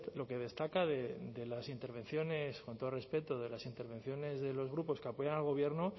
lo que destaca de las intervenciones con todo el respeto de las intervenciones de los grupos que apoyan al gobierno